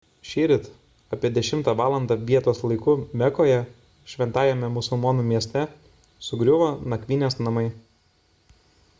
šįryt apie 10 valandą vietos laiku mekoje šventajame musulmonų mieste sugriuvo nakvynės namai